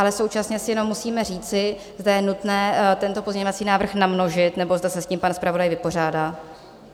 Ale současně si jenom musíme říci, zda je nutné tento pozměňovací návrh namnožit, nebo zda se s tím pan zpravodaj vypořádá?